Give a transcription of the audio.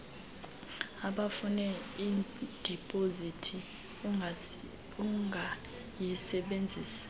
ubufune idipozithi ungayisebenzisa